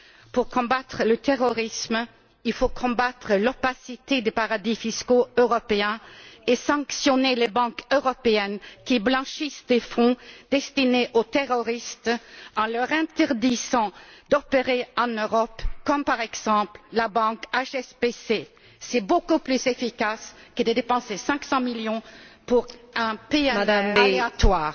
Pour combattre le terrorisme, il faut combattre l'opacité des paradis fiscaux européens et sanctionner les banques européennes qui blanchissent des fonds destinés aux terroristes en leur interdisant d'opérer en Europe, comme, par exemple, la banque HSBC. C'est beaucoup plus efficace que de dépenser 500 millions pour un PNR aléatoire.